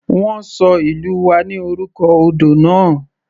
Wọ́n ṣọ ìlú wa ní orúkọ odò náà.